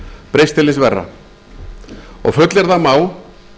breyst mjög til hins verra og fullyrða má